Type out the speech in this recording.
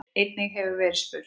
Einnig hefur verið spurt